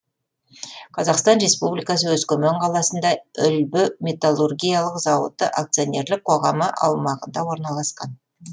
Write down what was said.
қазақстан республикасы өскемен қаласында үлбі металлургиялық зауыты акционерлік қоғамы аумағында орналасқан